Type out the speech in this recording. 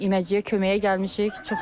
Bu gün iməciliyə köməyə gəlmişik.